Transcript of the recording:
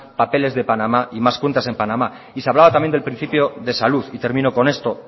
papeles de panamá y más cuentas en panamá se hablaba también del principio de salud y termino con esto